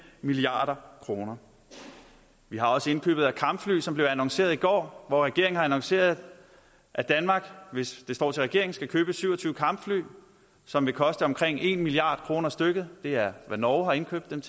milliard kroner vi har også indkøbet af kampfly som blev annonceret i går regeringen har annonceret at danmark hvis det står til regeringen skal købe syv og tyve kampfly som vil koste omkring en milliard kroner stykket det er det norge har indkøbt dem